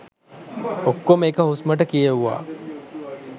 ඔක්කොම එක හුස්මට කියෙව්වා